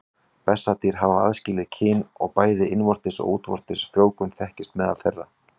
Bessadýr hafa aðskilin kyn og bæði innvortis og útvortis frjóvgun þekkist meðal þeirra.